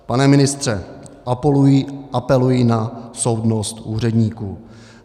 Pane ministře, apeluji na soudnost úředníků.